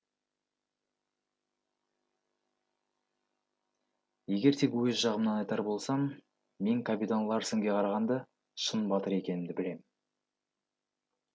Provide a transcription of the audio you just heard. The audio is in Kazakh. егер тек өз жағымнан айтар болсам мен капитан ларсенге қарағанда шын батыр екенімді білемін